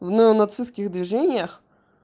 но в нацистских движениях